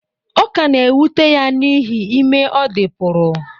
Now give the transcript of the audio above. Ọ ka na-ewute ya n’ihi ime ọ dị pụrụ